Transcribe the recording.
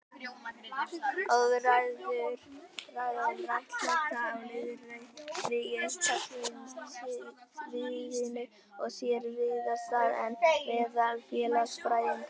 Orðræða um réttlæti og lýðræði á einkasviðinu á sér víðar stað en meðal félagsfræðinga.